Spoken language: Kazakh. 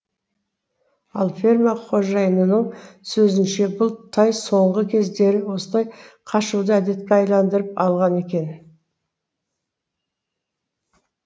ал ферма қожайынының сөзінше бұл тай соңғы кездері осылай қашуды әдетке айналдырып алған екен